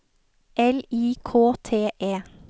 L I K T E